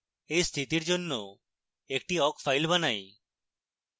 awk স্থিতির জন্য একটি awk file বানাই